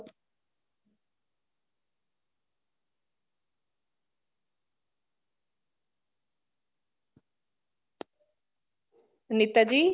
Anita ji